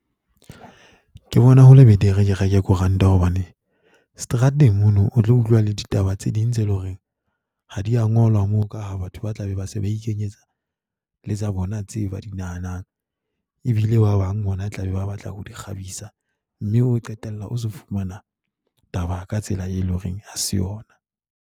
Ke bona ho le betere ke reke koranta hobane strateng mono o tlo utlwa le ditaba tse ding tse leng hore ha di a ngolwa mo ka ha batho ba tlabe ba se ba ikenyetsa le tsa bona tse ba di nahanang ebile ba bang ho na tla be ba batla ho di kgabisa. Mme o qetella o se fumana taba ka tsela e leng hore ha se yona.